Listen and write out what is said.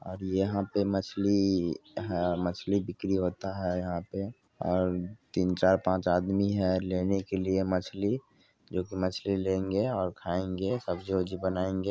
और यहाँ पे मछली है मछली बिक्री होता है यहाँ पे और तीन चार पांच आदमी है लेने के लिए मछली जो कि मछली लेंगे खाएंगे सब्जी वब्जी बनाएंगे।